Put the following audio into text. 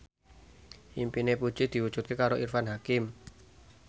impine Puji diwujudke karo Irfan Hakim